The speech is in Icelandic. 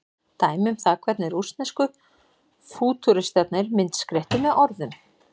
Dæmi um það hvernig rússnesku fútúristarnir myndskreyttu með orðum.